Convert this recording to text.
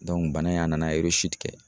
bana in a nana kɛ